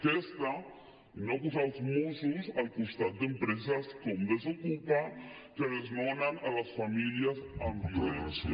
aquesta i no posar els mossos al costat d’empreses com desokupa que desnonen les famílies amb violència